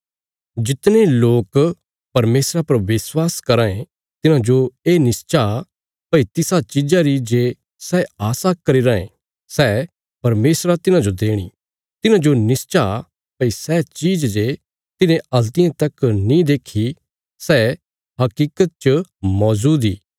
जितने लोक परमेशरा पर विश्वास कराँ ये तिन्हांजो ये निश्चा भई तिसा चीज़ा री जे सै आशा करी राँये सै परमेशरा तिन्हांजो देणी तिन्हांजो निश्चा भई सै चीज जे तिन्हें हल्तियें तक नीं देखी सै हकीकत च मौजूद इ